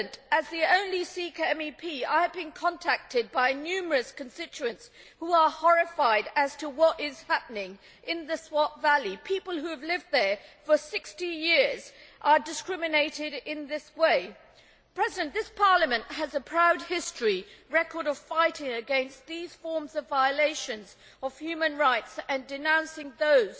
As the only Sikh MEP, I have been contacted by numerous constituents who are horrified as to what is happening in the Swat Valley people who have lived there for 60 years are discriminated against in this way. This Parliament has a proud history and record of fighting against these forms of violations of human rights and denouncing those